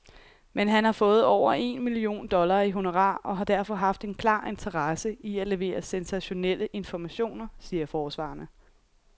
Men han har fået over en million dollar i honorar og har derfor haft en klar interesse i at levere sensationelle informationer, siger forsvarerne.